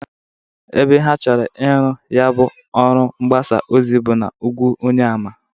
Ebe ha chọrọ iru ya bụ ọrụ mgbasa ozi bụ n'ugwu Onyeama.